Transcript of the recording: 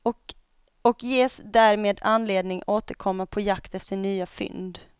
Och ges därmed anledning återkomma på jakt efter nya fynd.